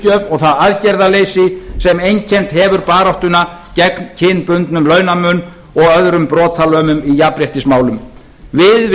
og það aðgerðaleysi sem einkennt hefur baráttuna gegn kynbundnum launamun og öðrum brotalömum í jafnréttismálum við